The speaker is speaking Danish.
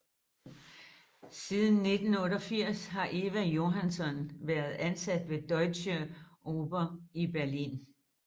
Siden 1988 har Eva Johansson været ansat ved Deutsche Oper i Berlin